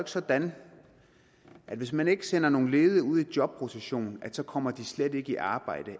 sådan at hvis man ikke sender nogle ledige ud i jobrotation så kommer de slet ikke i arbejde